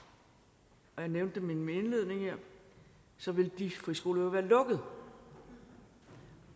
og jeg nævnte dem i min indledning her så ville de friskoler jo være lukket